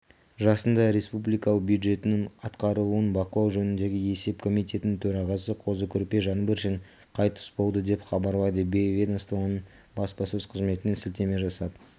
жасында республикалық бюджеттің атқарылуын бақылау жөніндегі есеп комитетінің төрағасы қозы-көрпеш жаңбыршин қайтыс болды деп хабарлайды ведомствоның баспасөз қызметіне сілтеме жасап